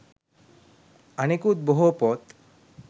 අනෙකුත් බොහෝ පොත්